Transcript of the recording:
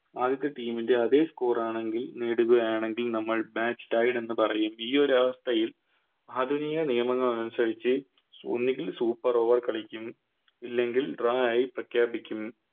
ആദ്യത്തെ Team ൻറെ അതെ Sore ആണെങ്കിൽ നേടുകയാണെങ്കിൽ നമ്മൾ Bats tied എന്ന് പറയും ഈയൊരവസ്ഥയിൽ ആധുനിക നിയമങ്ങളനുസരിച്ച് ഓ ന്നെങ്കിൽ Super over കളിക്കും ഇല്ലെങ്കിൽ Bra ആയി പ്രഘ്യാപിക്കും